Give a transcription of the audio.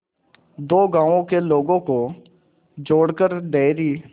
दो गांवों के लोगों को जोड़कर डेयरी